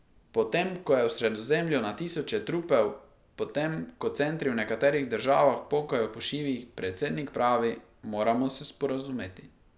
Potem, ko je v Sredozemlju na tisoče trupel, potem ko centri v nekaterih državah pokajo po šivih, predsednik pravi, moramo se sporazumeti.